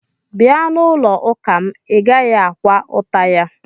Bia n'ulo uka m, i gaghi-akwa ụta ya